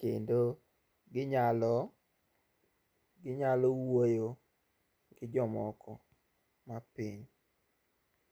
kendo ginyalo, ginyalo wuoyo gi jomoko mapiny.